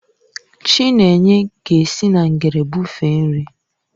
Chinenye ga-esi na ngere bụfee nri.